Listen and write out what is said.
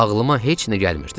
Ağlıma heç nə gəlmirdi.